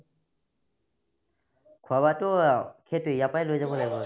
খোৱা-বোৱাতো সেইটোয়ে ইয়াৰ পৰা লৈ যাব লাগিব